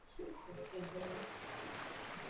জন্য